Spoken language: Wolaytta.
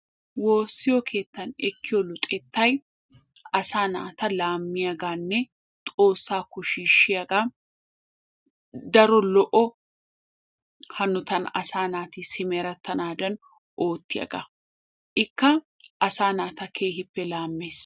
Woosiyo keettan ekkiyo luxxettay asaa naata laamiyagaanne xoossaakko shiishiyaga, daro lo'o hanotan asaa naati simerettanaadan oottiyagaa. Ikka asaa naata keehippe laammees.